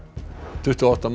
tuttugu og átta manns